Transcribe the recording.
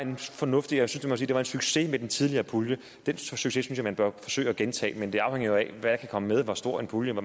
fornuftigt og succes med den tidligere pulje og den succes synes jeg man bør forsøge at gentage men det afhænger jo af hvad der kan komme med hvor stor puljen